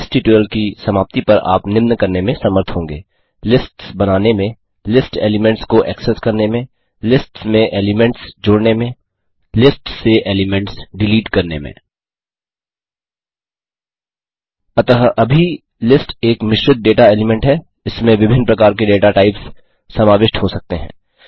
इस ट्यूटोरियल की समाप्ति पर आप निम्न करने में समर्थ होंगे लिस्ट्स बनाने में लिस्ट एलीमेंट्स को एक्सेस करने में लिस्ट्स में एलीमेंट्स जोड़ने में लिस्ट्स से एलीमेंट्स डिलीट करने में अतः अभी लिस्ट एक मिश्रित डेटा एलीमेंट है इसमें विभिन्न प्रकार के डेटा टाइप्स समाविष्ट हो सकते हैं